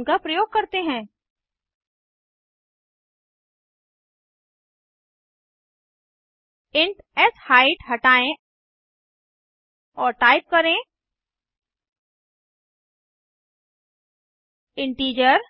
उनका प्रयोग करते हैं इंट शाइट हटायें और टाइप करें इंटीजर